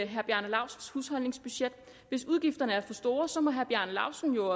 herre bjarne laustsens husholdningsbudget hvis udgifterne er for store så må herre bjarne laustsen jo